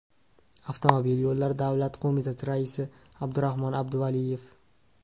Avtomobil yo‘llari davlat qo‘mitasi raisi Abdurahmon Abduvaliyev.